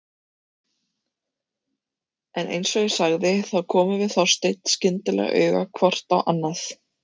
En eins og ég sagði þá komum við Þorsteinn skyndilega auga hvort á annað.